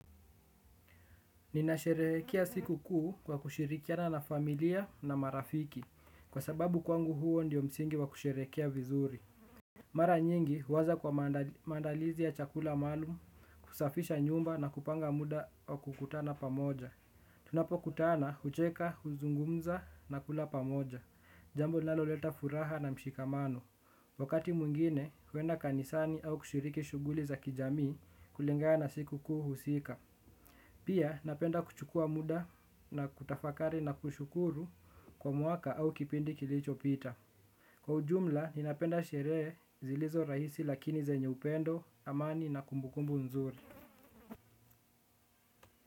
Ninasherehekea siku kuu kwa kushirikiana na familia na marafiki. Kwa sababu kwangu huo ndio msingi wa kusherehekea vizuri. Mara nyingi huwaza kwa maandalizi ya chakula maalumu. Kusafisha nyumba na kupanga muda wa kukutana pamoja tunapokutana, hucheka, huzungumza na kula pamoja. Jambo linaloleta furaha na mshikamano wakati mwingine, huenda kanisani au kushiriki shughuli za kijamii. Kulingana na siku kuu husika pia napenda kuchukua muda na kutafakari na kushukuru kwa mwaka au kipindi kilichopita. Kwa ujumla, ninapenda sherehe zilizo rahisi lakini zenye upendo, amani na kumbukumbu nzuri.